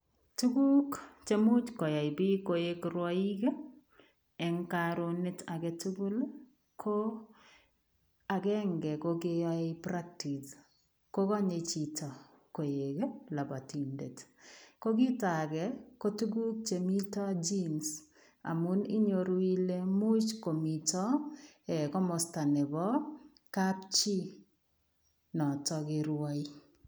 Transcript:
Tuguk che much koyai biik koik rwoiik eng karunet age tugul ko agenge ko koyoe practise ko konye chito koek lambatindet. Ko kitoage kotuguk chemito jims amu inyoru ile much komito komosta nebo kapchi noto kerwoe.